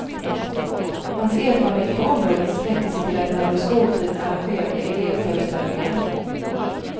Hans erfarenheter på området sträcker sig till att han under skoltiden arrangerade elevföreställningar.